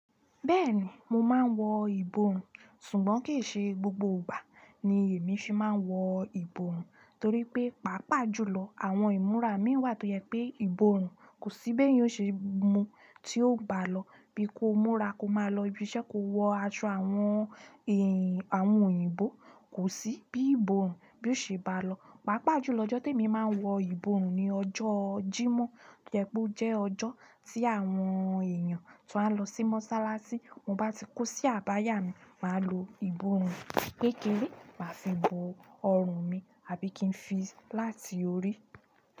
Bẹ́ẹ̀ni, mo máa ń wọ ìbòòrùn, ṣùgbọ́n kì í ṣe gbogbo ìgbà ni èmi ṣe máa ń wọ ìbòòrùn, torí pé, pàápàá jùlọ àwọn ìmúra imí wà tó jẹ pé ìbòòrùn kò sí bí èéyan ó ṣe mu tí ó bá lọ. Bí ko múra ko máa lọ ibi iṣẹ́ ko wọ aṣọ àwọn, àwọn òyìnbó, kò sí bí ìbòòrùn bí ó ṣe bá lọ. Pàápàá jùlọ ọjọ́ tí èmi máa ń wọ ìbòòrùn ni ọjọ́ Jímọ̀, tó jẹ pe ó jẹ́ ọjọ́ tí àwọn èèyàn tó máa n lọ sí mọ́sálásí, ti mo bá ti kó sí àbáyà mi, màá lo ìbòòrùn kékeré, màá fi bo ọrùn mi, àbí kí n fi láti orí.